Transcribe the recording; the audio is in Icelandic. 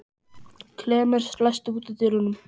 Klemens, læstu útidyrunum.